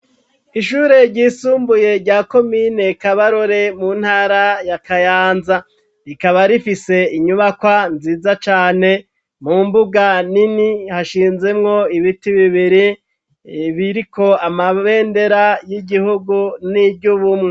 Ishure ryisumbuye rya komine Kabarore mu ntara ya Kayanza ,rikaba rifise inyubakwa nziza cane, mu mbuga nini hashinzemwo ibiti bibiri biriko amabendera y'igihugu n'iryubumwe.